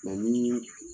ni